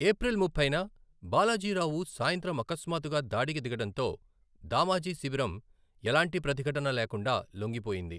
April ముప్పైన బాలాజీ రావు సాయంత్రం అకస్మాత్తుగా దాడికి దిగడంతో దామాజీ శిబిరం ఎలాంటి ప్రతిఘటన లేకుండా లొంగిపోయింది.